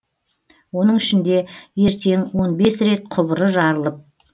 оның ішінде ертең он бес рет құбыры жарылып